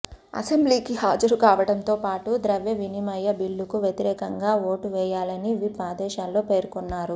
అసెంబ్లీకి హాజరు కావడంతో పాటు ద్రవ్య వినిమయ బిల్లుకు వ్యతిరేకంగా ఓటు వేయాలని విప్ ఆదేశాల్లో పేర్కొన్నారు